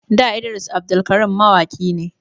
Da Idris Abdulkarim mawaki ne